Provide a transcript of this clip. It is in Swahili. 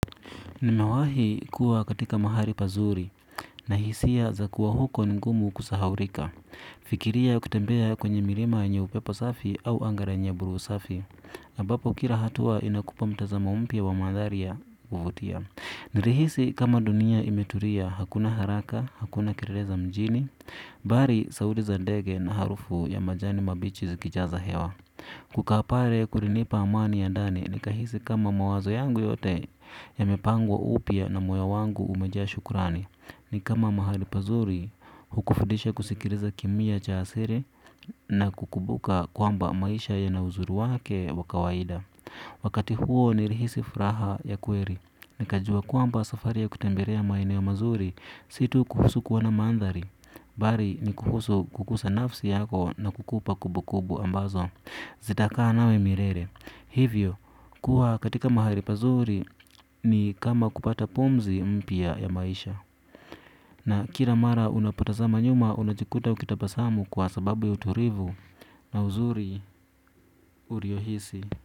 Nimawahi kuwa katika mahali pazuri na hisia za kuwa huko ni ngumu kusahaurika. Fikiria ukitembea kwenye mirima yenye upepo safi au anga lenye buru safi. Ambapo kira hatua inakupa mtazamo mpya wa maadharia uvutia. Nilihisi kama dunia imeturia hakuna haraka, hakuna kelele za mjini. Bari sauti za dege na harufu ya majani mabichi zikijaza hewa. Kukaa pare kurinipa amani ya ndani nikahisi kama mawazo yangu yote yamepangwa upia na moyo wangu umejaa shukurani. Nikama mahali pazuri hukufudisha kusikiriza kimia cha asiri na kukubuka kwamba maisha yana uzuri wake wa kawaida. Wakati huo nilihisi furaha ya kweri nikajua kwamba safari ya kutemberea maeneo mazuri si tu kuhusu kuona mandhari bari ni kuhusu kukusa nafsi yako na kukupa kubu kubu ambazo zitakaa nawe mirere hivyo kuwa katika mahali pazuri ni kama kupata pumzi mpya ya maisha. Na kila mara unapotazama nyuma unajikuta ukitabasamu kwa sababu ya uturivu na uzuri uriohisi.